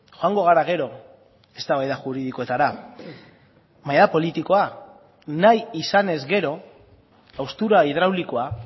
joango gara gero eztabaida juridikoetara baina politikoa da nahi izanez gero haustura hidraulikoa